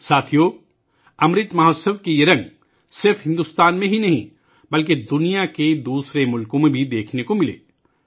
ساتھیو ، امرت مہوتسو کے یہ رنگ صرف بھارت میں ہی نہیں بلکہ دنیا کے دیگر ممالک میں بھی دیکھنے کو ملے